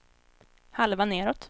halva nedåt